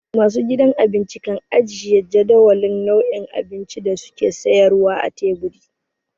Masu gidan abinci kan ajiye jadawalin nau'in abincin da su ke sayarwa a teburi.